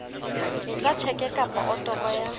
etsa tjheke kapa otoro ya